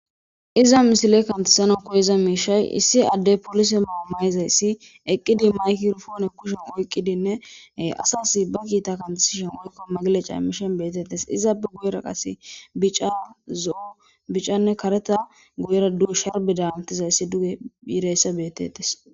Iza misile kantasano koyiza miishay issi adde polise maamayizayssi eqqidi mayki rufoone kushen oyqqidinnee asasi ba kiita kantasishen woykko magileca emmishen betettes izaabe guyera qase bica zo7o bicanne kareta guyera duu sharbi daantizayssi duge biireysse beetetes